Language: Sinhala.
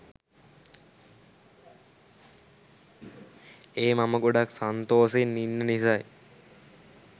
ඒ මම ගොඩක් සන්තෝසෙන් ඉන්න නිසයි.